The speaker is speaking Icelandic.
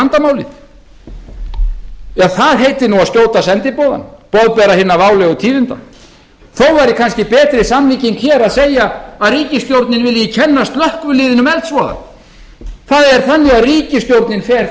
vandamálið ef það heitir að skjóta sendiboðann boðbera hinna válegu tíðinda þó væri kannski betri samlíking hér að segja að ríkissjórnin vilji kenna slökkviliðinu um eldsvoðann það er þannig að ríkisstjórnin fer